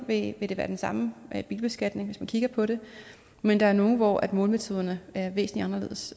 vil det være den samme bilbeskatning hvis man kigger på det men der er nogle hvor målemetoderne er væsentlig anderledes